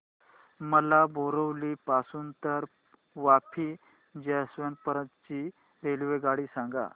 मला बोरिवली पासून तर वापी जंक्शन पर्यंत ची रेल्वेगाडी सांगा